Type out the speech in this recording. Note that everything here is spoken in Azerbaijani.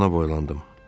Eyvana boylandım.